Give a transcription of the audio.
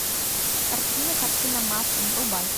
картина картина маслом врубай